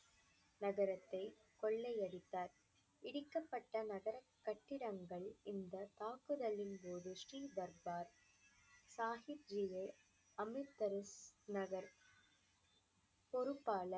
நகரத்தை கொள்ளையடித்தார். இடிக்கப்பட்ட நகரக் கட்டிடங்கள் இந்த தாக்குதலின்போது ஸ்ரீ தர்பார் சாகித்விவே அமிர்தசரஸ் நகர். பொறுப்பாளர்